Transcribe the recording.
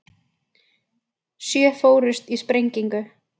Sjö fórust í sprengingu